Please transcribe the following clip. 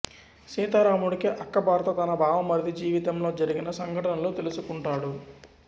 సీతారాముడి అక్క భర్త తన బావమరిది జీవితంలో జరిగిన సంఘటనలు తెలుసుకుంటాడు